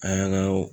An yɛrɛ ka